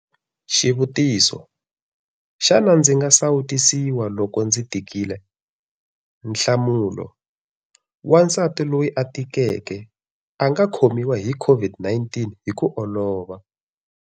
Xivutiso- Xana ndzi nga sawutisiwa loko ndzi tikile? Nhlamulo- Wansati loyi a tikeke a nga khomiwa hi COVID-19 hi ku olova.